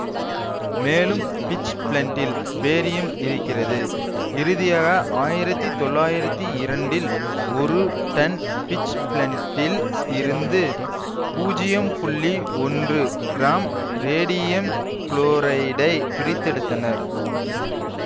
மேலும் பிட்ச்பிளென்டில் பேரியமே இருக்கிறது இறுதியாக ஆயிரத்தி தொள்ளாயிரத்தி இரண்டில் ஒரு டன் பிட்ச்பிளென்டில் இருந்து பூஜ்யம் புள்ளி ஒன்று கிராம் ரேடியம் குலோரைடை பிரித்தெடுத்தனர்